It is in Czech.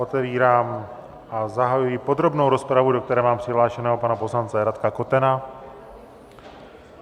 Otevírám a zahajuji podrobnou rozpravu, do které mám přihlášeného pana poslance Radka Kotena.